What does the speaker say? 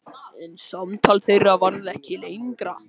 En samtal þeirra varð ekki lengra.